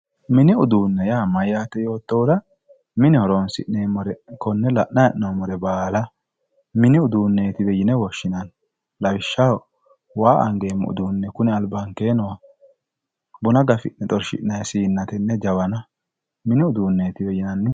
mini uduunne yaa mayyaate yoottohura mine horonsi'neemmore baala konne la'anni noottore baala mini uduunneetiwe yine woshshinanni lawishshaho waa angeemmo uduunne kuni albankeenni nooha buna gafi'ne xorshi'nanni anganni siinna konne jawana mini uduunneetiwe yinanni.